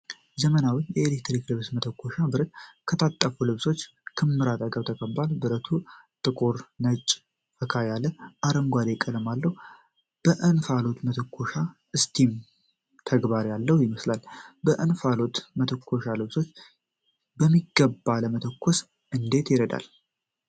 ዘመናዊ የኤሌክትሪክ ልብስ መተኮሻ (ብረት) ከታጠፉ ልብሶች ክምር አጠገብ ተቀምጧል። ብረቱ ጥቁር፣ ነጭ እና ፈካ ያለ አረንጓዴ ቀለም አለው። በእንፋሎት የመተኮሻ (እስቲም) ተግባር ያለው ይመስላል። የእንፋሎት መተኮሻ ልብሶችን በሚገባ ለመተኮስ እንዴት ይረዳል?